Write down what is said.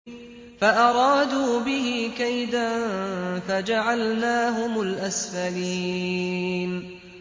فَأَرَادُوا بِهِ كَيْدًا فَجَعَلْنَاهُمُ الْأَسْفَلِينَ